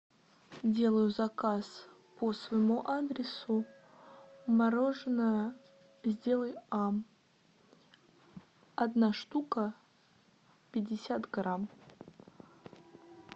делаю заказ по своему адресу мороженое сделай ам одна штука пятьдесят грамм